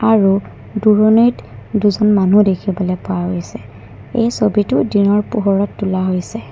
আৰু দূৰণিত দুজন মানুহ দেখিবলৈ পোৱা গৈছে এই ছবিটো দিনৰ পোহৰত তোলা হৈছে।